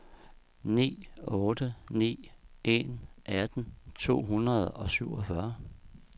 ni otte ni en atten to hundrede og syvogfyrre